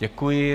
Děkuji.